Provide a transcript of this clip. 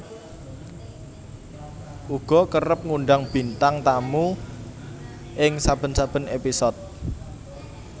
uga kerep ngundang bintang tamu ing saben saben épisode